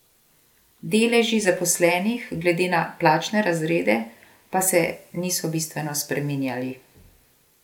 Deleži zaposlenih glede na plačne razrede pa se niso bistveno spreminjali.